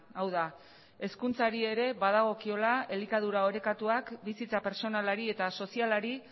hau da hezkuntzari ere badagokiola elikadura orekatuak bizitza pertsonalari eta sozialari